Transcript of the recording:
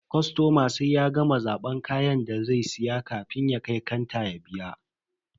Kostoma sai ya gama zaban kayan da zai siya kafin ya kai kanta ya biya.